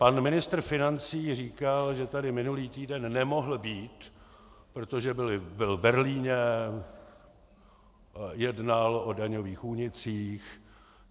Pan ministr financí říkal, že tady minulý týden nemohl být, protože byl v Berlíně, jednal o daňových únicích.